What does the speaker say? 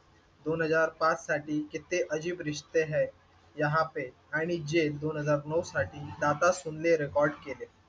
दोन हजार पाच साठी कितने अजीब रिश्ते हैं यहाँ पे आणि जेल दोन हजार नऊ साठी दाता सुन ले रेकॉर्ड केले.